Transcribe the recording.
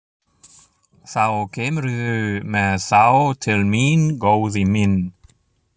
Þá kemurðu með þá til mín, góði minn.